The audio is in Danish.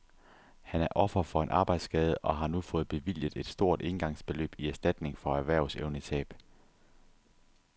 Han er offer for en arbejdsskade og har nu fået bevilget et stort éngangsbeløb i erstatning for erhvervsevnetab.